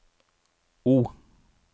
O